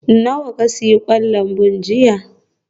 Nawa ka sayi kwan lambu jiya?